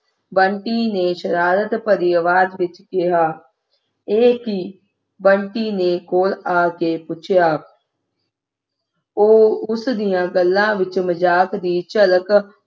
ਬੰਟੀ ਨੇ ਸ਼ਰਾਰਤ ਭਰੀ ਆਵਾਜ਼ ਵਿੱਚ ਕਿਹਾ ਇਹ ਕਿ ਬੰਟੀ ਨੇ ਕੋਲ ਆ ਕੇ ਪੁੱਛਿਆ ਉਹ ਉਸ ਦੀਆਂ ਗੱਲਾਂ ਵਿੱਚ ਮਜਾਕ ਦੀ ਝਲਕ